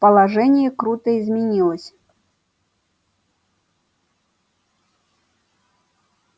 положение круто изменилось